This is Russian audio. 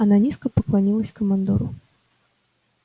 она низко поклонилась командору